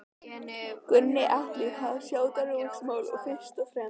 Gunnar Atli: Var það sjávarútvegsmálin fyrst og fremst?